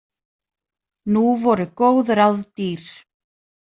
Nú voru góð ráð dýr.